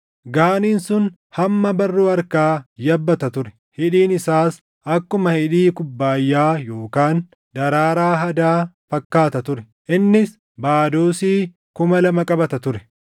Gaaniin sun hamma barruu harkaa yabbata ture; hidhiin isaas akkuma hidhii kubbaayyaa yookaan daraaraa hadaa fakkaata ture. Innis baadoosii kuma lama qabata ture.